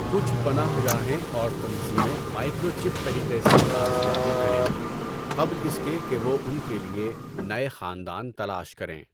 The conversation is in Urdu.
کچھ پناہ گاہیں اور تنظیمیں مائیکرو چِپ طریقے سے باز یابی کریں گی قبل اس کے کہ وہ ان کے لیے نئے خاندان تلاش کریں۔